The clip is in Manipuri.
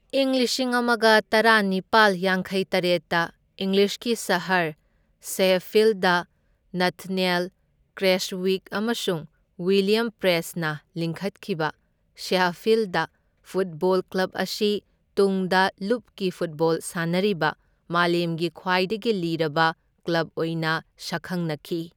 ꯏꯪ ꯂꯤꯁꯤꯡ ꯑꯃꯒ ꯇꯔꯥꯅꯤꯄꯥꯜ ꯌꯥꯡꯈꯩꯇꯔꯦꯠꯇ ꯏꯪꯂꯤꯁꯀꯤ ꯁꯍꯔ ꯁꯦꯍꯐꯤꯜꯗ ꯅꯊꯥꯅ꯭ꯌꯦꯜ ꯀ꯭ꯔꯦꯁꯋꯤꯛ ꯑꯃꯁꯨꯡ ꯋꯤꯜꯂ꯭ꯌꯝ ꯄ꯭ꯔꯦꯁꯠꯅ ꯂꯤꯡꯈꯠꯈꯤꯕ, ꯁꯦꯍꯐꯤꯜꯗ ꯐꯨꯠꯕꯣꯜ ꯀ꯭ꯂꯕ ꯑꯁꯤ ꯇꯨꯡꯗ ꯂꯨꯞꯀꯤ ꯐꯨꯇꯕꯣꯜ ꯁꯥꯟꯅꯔꯤꯕ ꯃꯥꯂꯦꯝꯒꯤ ꯈ꯭ꯋꯥꯏꯗꯒꯤ ꯂꯤꯔꯕ ꯀ꯭ꯂꯕ ꯑꯣꯏꯅ ꯁꯛꯈꯪꯅꯈꯤ꯫